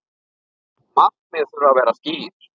Markmið þurfi að vera skýr.